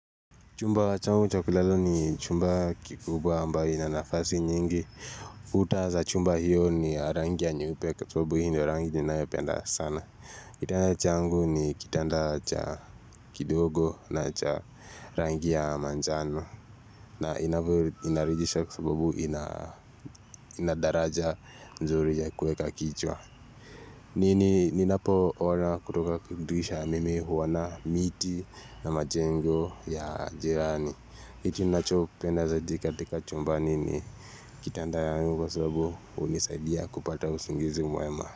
Chumba wachangu chakulala ni chumba kikubwa ambayo inanafasi nyingi. Kuta za chumba hiyo ni ya rangi ya nyeupe kwa sababu hii ndo rangi ninayopenda sana. Kitanda changu ni kitanda cha kidogo na cha rangi ya manjano. Na inarithisha kwa sababu ina daraja nzuri ya kweka kichwa. Nini ninapo ona kutoka dirisha mimi huona miti na majengo ya jirani. Kitu nachopenda zaidi katika chumba nini Kitanda yangu kwa sababu unisaidia kupata usingizi mwema.